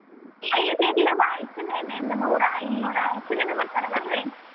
ಐತೆ ಇರ್ಲಿ ಬಾ ನೂರಾ ಇನ್ನೂರಾ ಎಷ್ಟ್ ಜನ ಬರ್ತಾರ ಬರ್ರಿ.